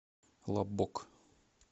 лаббок